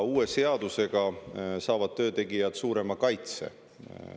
Uue seadusega saavad töötegijad suurema kaitse.